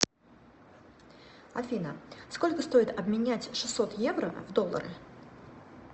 афина сколько стоит обменять шестьсот евро в доллары